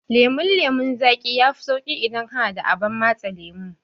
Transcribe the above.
Lemon lemon zaƙi yafi sauƙin yi idan kana da abar matse lemo.